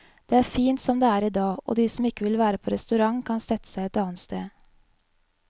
Det er fint som det er i dag, og de som ikke vil på restaurant kan sette seg et annet sted.